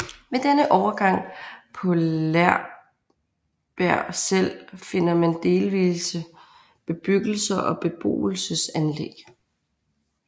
Ved denne overgang og på Laaer Berg selv finder man delvise bebyggelser og beboelsesanlæg